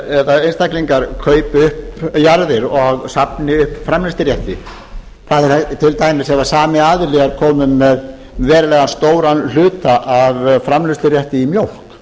eða einstaklingar kaupi upp jarðir og safni framleiðslurétti til dæmis ef sami aðili er kominn með verulega stóran hluta af framleiðslurétti í mjólk